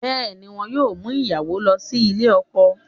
Bẹ́ẹ̀ ni, wọn yóò mú ìyàwó lọ sílè ọkọ